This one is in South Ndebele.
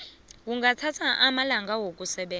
kungathatha amalanga wokusebenza